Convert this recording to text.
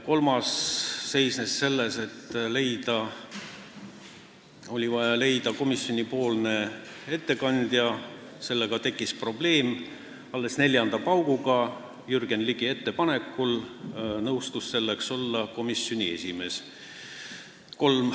Kolmandaks oli vaja leida komisjoni ettekandja, millega tekkis probleeme – alles neljanda pauguga nõustus selleks Jürgen Ligi ettepanekul olema komisjoni esimees.